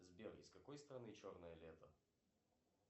сбер из какой страны черное лето